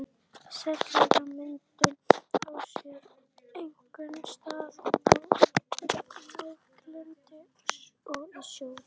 Setlagamyndun á sér einkum stað á láglendi og í sjó.